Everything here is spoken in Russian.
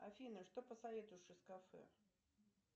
афина что посоветуешь из кафе